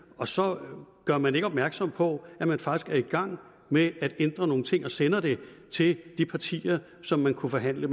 og så gør man ikke opmærksom på at man faktisk er i gang med at ændre nogle ting og man sender det ikke til de partier som man kunne forhandle